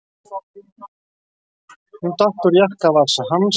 Hún datt úr jakkavasa hans.